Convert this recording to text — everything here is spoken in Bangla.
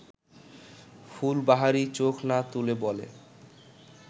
ফুলবাহারি চোখ না তুলে বলে